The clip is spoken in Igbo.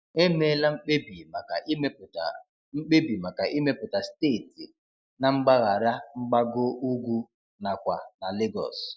Emeela mkpebi maka ịmepụta mkpebi maka ịmepụta steeti na mgbaghara mgbago ugwu nakwa na Lagos.